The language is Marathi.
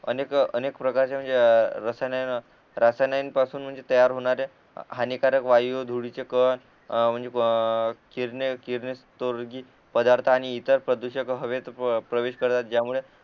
अनेक अनेक प्रकारच्या म्हणजे रसायन रसायन्यान पासून म्हणजे तयार होणाऱ्या हानिकारक वायू धुरीचे कण अ म्हणजे किरणे किरणे स्तोर्गिक पदार्थ आणि ईतर प्रदूषक हवेत प्रवेश करतात ज्यामुळे